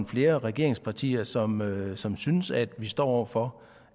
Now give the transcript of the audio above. flere regeringspartier som som synes at vi står over for